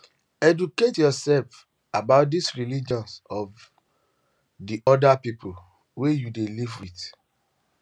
educate yourself about di religion of di oda pipo wey you dey live with